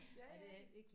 Ja ja